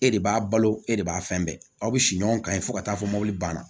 E de b'a balo e de b'a fɛn bɛɛ aw bi si ɲɔgɔn kan fo ka taa fɔ mɔbili banna